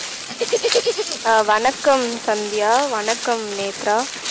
அஹ் வணக்கம் சந்தியா வணக்கம் நேத்ரா